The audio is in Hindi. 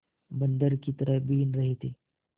बंदर की तरह बीन रहे थे